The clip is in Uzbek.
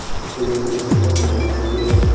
Telefonning old kamerasi yo‘q.